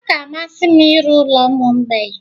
Ọ ga-amasị m ịrụ ụlọ ụmụ mgbei.